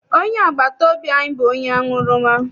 Onye agbata obi anyị bụ onye aṅụrụma.